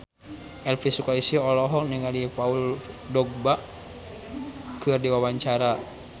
Elvi Sukaesih olohok ningali Paul Dogba keur diwawancara